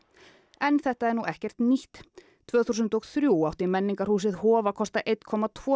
en þetta er ekkert nýtt tvö þúsund og þrjú átti Menningarhúsið Hof að kosta einn komma tvo